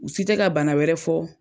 U si tɛ ka bana wɛrɛ fɔ.